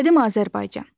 Qədim Azərbaycan.